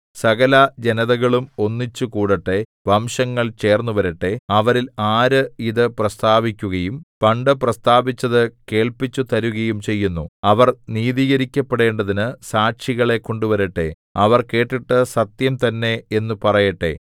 സകലജനതകളും ഒന്നിച്ചുകൂടട്ടെ വംശങ്ങൾ ചേർന്നുവരട്ടെ അവരിൽ ആര് ഇതു പ്രസ്താവിക്കുകയും പണ്ടു പ്രസ്താവിച്ചതു കേൾപ്പിച്ചുതരുകയും ചെയ്യുന്നു അവർ നീതീകരിക്കപ്പെടേണ്ടതിന് സാക്ഷികളെ കൊണ്ടുവരട്ടെ അവർ കേട്ടിട്ട് സത്യം തന്നെ എന്നു പറയട്ടെ